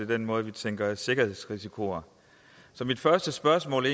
den måde vi tænker sikkerhedsrisici på så mit første spørgsmål